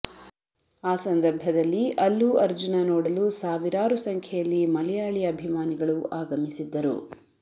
ಆ ಸಂದರ್ಭದಲ್ಲಿ ಅಲ್ಲು ಅರ್ಜುನ ನೋಡಲು ಸಾವಿರಾರು ಸಂಖ್ಯೆಯಲ್ಲಿ ಮಲಯಾಳಿ ಅಭಿಮಾನಿಗಳು ಆಗಮಿಸಿದ್ದರು